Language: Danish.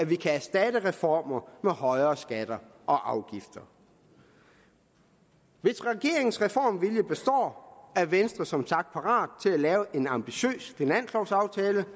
vi kan erstatte reformer med højere skatter og afgifter hvis regeringens reformvilje består er venstre som sagt parat til at lave en ambitiøs finanslovaftale